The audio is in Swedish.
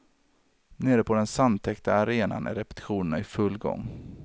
Nere på den sandtäckta arenan är repetitionerna i full gång.